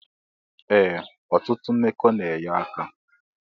Ee otutụ mmekọ na enye aka.